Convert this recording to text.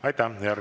Aitäh!